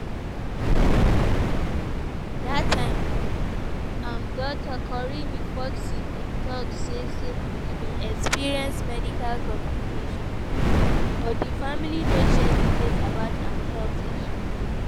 dat time im daughter corinne foxx bin tok say say e bin experience "medical complication" but di family no share details about im health issues.